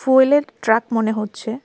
ফুয়েলের truck মনে হচ্ছে.